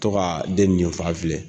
Tɔgɔ den nin ni fan filɛ.